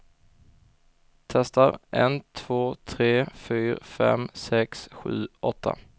Testar en två tre fyra fem sex sju åtta.